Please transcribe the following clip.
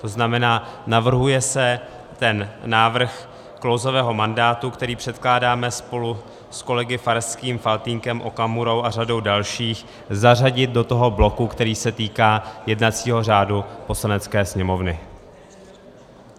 To znamená, navrhuje se ten návrh klouzavého mandátu, který předkládáme spolu s kolegy Farským, Faltýnkem, Okamurou a řadou dalších, zařadit do toho bloku, který se týká jednacího řádu Poslanecké sněmovny.